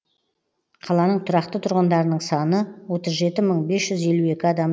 қаланың тұрақты тұрғындарының саны отыз жеті мың бес жүз елу жеті адам